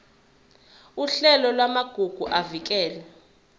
uhlelo lwamagugu avikelwe